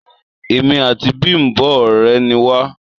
Èmi àti Bimbo òré ni wa